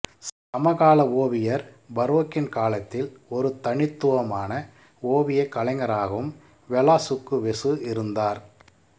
சமகால ஓவியர் பரோக்கின் காலத்தில் ஒரு தனித்துவமான ஓவியக் கலைஞராகவும் வெலாசுக்குவெசு இருந்தார்